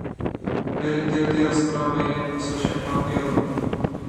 Velik del te razprave je posvečen prav evru.